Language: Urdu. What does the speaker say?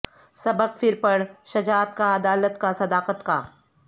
سبق پھر پڑھ شجاعت کا عدالت کا صداقت کا